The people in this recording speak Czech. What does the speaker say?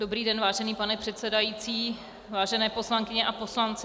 Dobrý den, vážený pane předsedající, vážené poslankyně a poslanci.